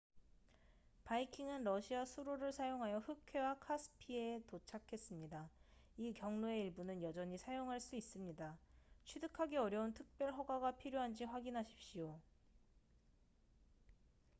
바이킹은 러시아 수로를 사용하여 흑해와 카스피해에 도착했습니다 이 경로의 일부는 여전히 사용할 수 있습니다 취득하기 어려운 특별 허가가 필요한지 확인하십시오